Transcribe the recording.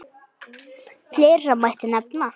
Fleira mætti nefna.